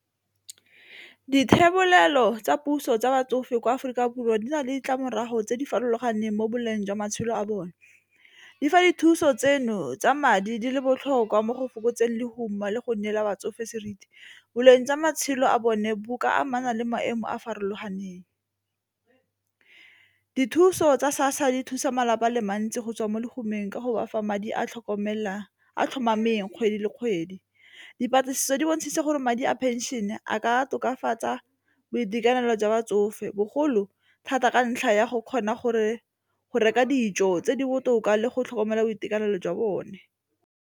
Dithebolelo tsa puso tsa batsofe kwa Aforika Borwa di na le ditlamorago tse di farologaneng mo boleng jwa matshelo a bone di fa dithuso tseno tsa madi di le botlhokwa mo go fokotseng lehuma le go neela batsofe seriti, boleng jwa matshelo a bone bo ka amana le maemo a a farologaneng. Dithuso tsa SASSA di thusa malapa a le mantsi go tswa mo letlhomesong ka go bafa madi a tlhokomela a tlhomameng kgwedi le kgwedi dipatlisiso di bontshitse gore madi a pension e a ka tokafatsa boitekanelo jwa ba tsofe bogolo thata ka ntlha ya go kgona go reka dijo tse di botoka le go tlhokomela boitekanelo jwa bone.